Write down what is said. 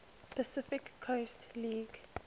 pacific coast league